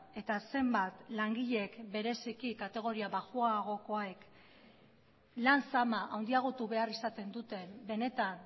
eta zenbat langileek bereziki kategoria baxuagokoek lan zama handiagotu behar izaten duten benetan